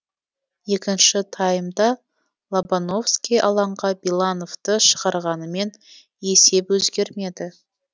екінші таймда лобановский алаңға белановты шығарғанымен есеп өзгермеді